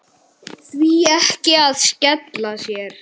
Því ekki að skella sér?